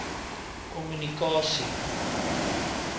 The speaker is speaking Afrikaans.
kommunikasie